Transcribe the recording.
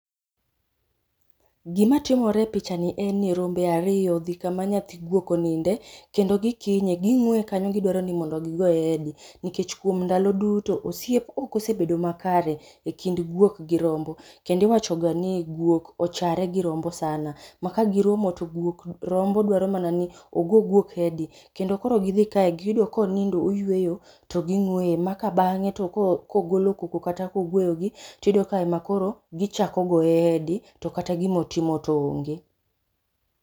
Gimatimore e pichani en ni rombe ariyo odhi kama nyathi guok oninde, kendo gikinye ging'weye kanyo gidwaro ni mondo gigoye hedi nikech kuom ndalo duto ,osiep ok osebedo makare e kind guok gi rombo. Kendo iwachoga ni guok ochare gi rombo sana, ma kagiromo to rombo dwaro mana ni ogo guok hedi kendo koro gidhi kae, giyudo konindo oyweyo, to ging'weye ma ka bang'e to kogolo koko kata koguoyogi, tiyudo ka ma koro gichako goye hedi to kata gimotimo to onge.